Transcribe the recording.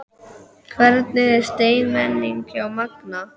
Hvernig er stemningin hjá Magna?